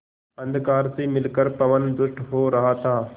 अंधकार से मिलकर पवन दुष्ट हो रहा था